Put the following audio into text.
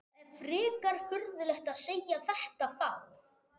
Það er frekar furðulegt að segja þetta þá?